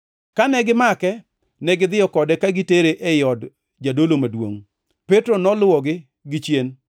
Kane gimake, negidhiyo kode ka gitere ei od jadolo maduongʼ. Petro noluwogi gichien.